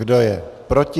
Kdo je proti?